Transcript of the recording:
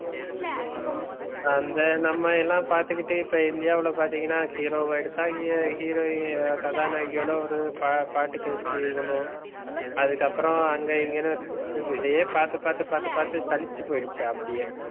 அந்த நம்ம எல்லாம் பாத்துக்கிட்டே இப்ப இந்தியாவுல பாத்தீங்கன்னா hero எடுத்த heroine கதாநாயகியோட ஒரு பாட்டு காட்சி பண்ணுவோம். அதுக்கப்புறம் அங்க இங்கன்னு இதையே பார்த்து பார்த்து பார்த்து பார்த்து சலிச்சு போயிடுச்சு. அப்படியே